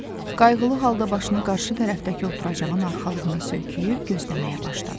Qayğılı halda başını qarşı tərəfdəki oturacağın arxalığına söykəyib gözləməyə başladı.